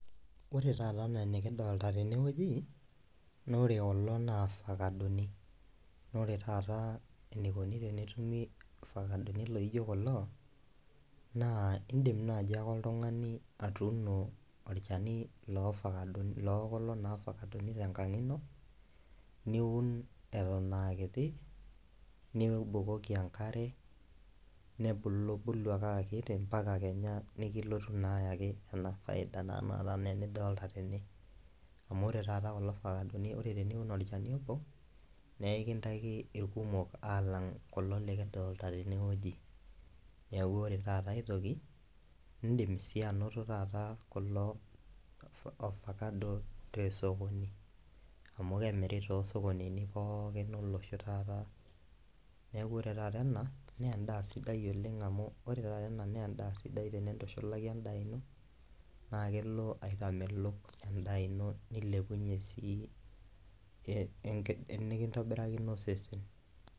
Ore taata enaa enikidolta tenewueji nore kulo na irfakadoni nore taata enikoni tenetumi ifakadoni laijo kulo naa indim naaji ake oltung'ai atuuno orchani lofakadini lokulo naa tenkang ino niun eton akiti nibukoki enkare nebulu bulu ake akiti ampaka kenya nikilotu naa ayaki ena faida naa enaata enidolta tene amu ore taata kulo fakadoni ore teniun orchani obo neekintaiki irkumok alang kulo likidolta tenewueji niaku ore taata aetoki indim sii anoto taata kulo ofakado tosokoni amu kemiri tosokonini pookin olosho taata niaku ore taata ena nendaa sidai oleng amu ore taata ena nendaa sidai oleng tenintushulaki endaa ino naa kelo aitamelok enda ino nilepunyie sii enikintobirakino osesen.